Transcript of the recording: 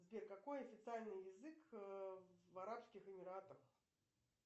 сбер какой официальный язык в арабских эмиратах